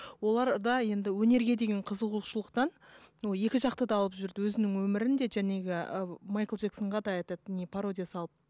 оларда енді өнерге деген қызығушылықтан екі жақты алып жүрді өзінің өмірін де ы майкл джексонға да этот не пародия салып